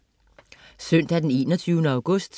Søndag den 21. august